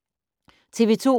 TV 2